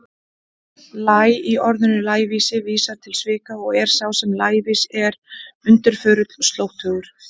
Læ- í orðinu lævísi vísar til svika og er sá sem er lævís undirförull, slóttugur.